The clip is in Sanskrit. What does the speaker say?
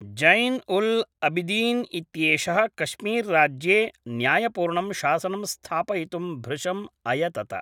जैन्उल्अबिदीन् इत्येषः कश्मीर्राज्ये न्यायपूर्णं शासनं स्थापयितुं भृशम् अयतत